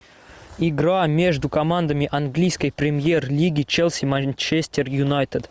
игра между командами английской премьер лиги челси манчестер юнайтед